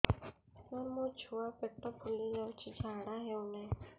ସାର ମୋ ଛୁଆ ପେଟ ଫୁଲି ଯାଉଛି ଝାଡ଼ା ହେଉନାହିଁ